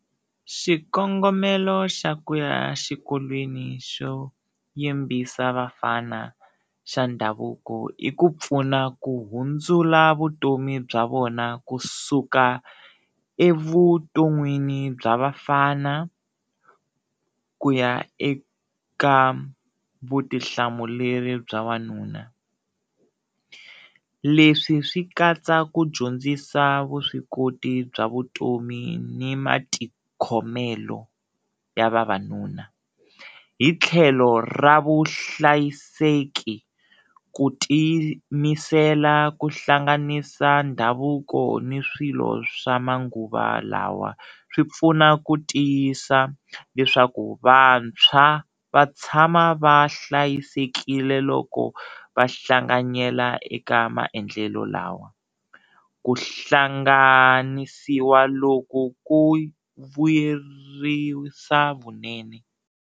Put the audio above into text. Xikongomelo xa ku ya xikolweni xo yimbisa vafana xa ndhavuko i ku pfuna ku hundzula vutomi bya vona kusuka evuton'wini bya vafana ku ya eka vutihlamuleri bya wanuna. Leswi swi katsa ku dyondzisa vuswikoti bya vutomi ni matikhomelo ya vavanuna hi tlhelo ra vuhlayiseki ku tiyimisela ku hlanganisa ndhavuko ni swilo swa manguva lawa swi pfuna ku tiyisa leswaku vantshwa va tshama va hlayisekile loko va hlanganyela eka maendlelo lawa, ku hlanganisiwa loku ku vuyerisa vunene.